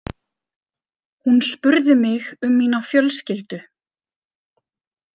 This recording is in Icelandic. Hún spurði mig um mína fjölskyldu.